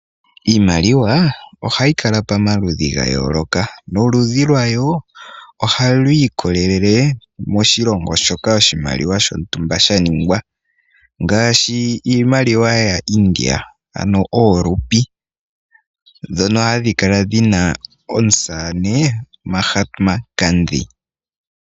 Iimaliwa ohayi kala pamaludhi gayooloka noludhi lwawo ohayi ikolelele moshilongo shoka oshimaliwa shontumba shaningwa ngaashi iimaliwa yaaIndia ano oolupi dhono hadhi kala dhina omusamane maHat maTanzi.